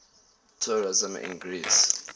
tourism in greece